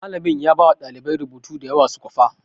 Malamin ya bawa ɗalibai rubutu da yawa su kwafa